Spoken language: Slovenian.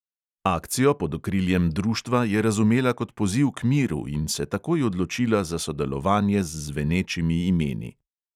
Akcijo pod okriljem društva je razumela kot poziv k miru in se takoj odločila za sodelovanje z zvenečimi imeni.